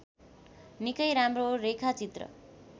निकै राम्रो रेखाचित्र